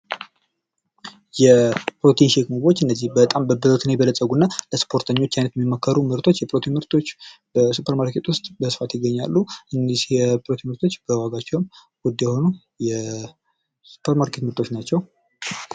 የፕሮቲን ሼክ ምግቦች እነዚህ በጣም በፕሮቲን የበለጸጉና ለስፖርተኛ የሚመከሩ አይነት ምርቶች በ ሱፐርማርኬት በስፋት ይገኛሉ። የፕሮቲን ምርቶች በዋጋቸው ውድ የሆኑ የሱፐርማርኬት ምርቶች ናቸው።